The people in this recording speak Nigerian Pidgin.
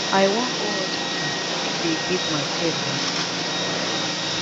i wan go hospital make dey give my pet vaccine